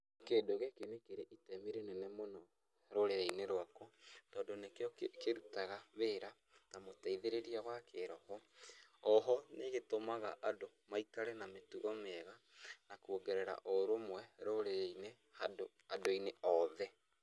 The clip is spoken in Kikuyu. Kĩndũ gĩkĩ nĩ kĩrĩ itemi rĩnene mũno rũrĩrĩ-inĩ rwakwa, tondũ nĩkĩo kĩrutaga wĩra ta mũteithĩrĩria wa kĩroho. Oho nĩgĩtũmaga andũ maikare na mĩtugo mĩega na kuongerera ũrũmwe rũrĩrĩ-inĩ handũ andũ-inĩ oothe.